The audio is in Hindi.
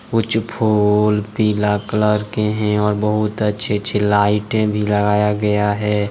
कुछ फूल पीला कलर के हैं और बहुत अच्छे अच्छे लाइटे भी लगाया गया है।